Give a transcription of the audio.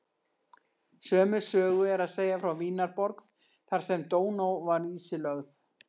Sömu sögu er að segja frá Vínarborg þar sem Dóná var ísilögð.